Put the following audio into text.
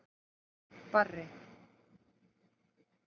Barri